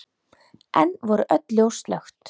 Enn voru öll ljós slökkt.